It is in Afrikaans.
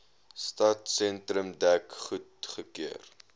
stadsentrum dek goedgekeur